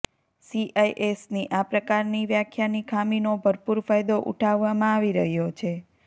સીઆઈએસની આ પ્રકારની વ્યાખ્યાની ખામીનો ભરપૂર ફાયદો ઉઠાવવામાં આવી રહ્યો છે